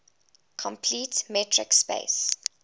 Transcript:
complete metric space